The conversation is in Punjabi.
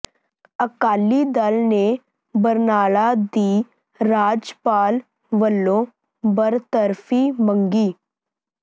ਅਕਾਲੀ ਦਲ ਨੇ ਬਰਨਾਲਾ ਦੀ ਰਾਜਪਾਲ ਵਜੋਂ ਬਰਤਰਫ਼ੀ ਮੰਗੀ